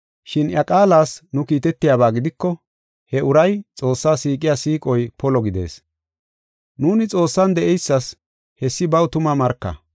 Shin iya qaalas nu kiitetiyaba gidiko he uray Xoossaa siiqiya siiqoy polo gidees. Nuuni Xoossan de7eysas hessi baw tuma marka.